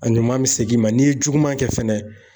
A ɲuman bɛ segin i ma n'i ye juguman kɛ fɛnɛ